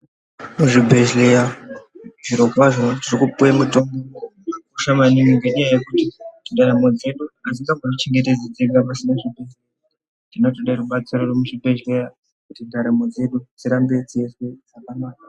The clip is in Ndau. Muzvibhedhleya zvirokwazvo tiri kupuwe mutombo unokosha maningi nenyaya yekuti ndaramo dzedu adzingamboti chengetedzi dzega pasina zvibhedhleya zvinotode rubatsiro rwemuzvi bhedhleya kuti ndaramo dzedu dzirambe dzeizwe zvakanaka.